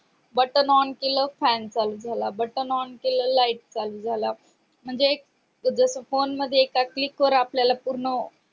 button on केले fan चालू झाला बटन on केले light चालू झाला म्हणजे एक जस phone मध्ये एका phone वर आपल्याला पूर्ण